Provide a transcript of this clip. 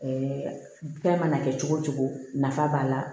fɛn mana kɛ cogo o cogo nafa b'a la